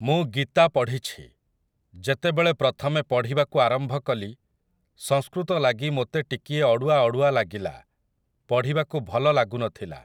ମୁଁ ଗୀତା ପଢ଼ିଛି । ଯେତେବେଳେ ପ୍ରଥମେ ପଢ଼ିବାକୁ ଆରମ୍ଭ କଲି, ସଂସ୍କୃତ ଲାଗି ମୋତେ ଟିକିଏ ଅଡ଼ୁଆ ଅଡ଼ୁଆ ଲାଗିଲା, ପଢ଼ିବାକୁ ଭଲ ଲାଗୁନଥିଲା ।